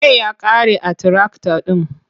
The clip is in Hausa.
Mai ya ƙare a tirakta ɗin.